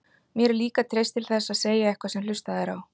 Mér er líka treyst til þess að segja eitthvað sem hlustað er á.